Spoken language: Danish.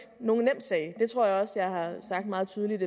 nogen nem sag det tror jeg også at jeg har sagt meget tydeligt